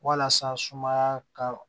Walasa sumaya ka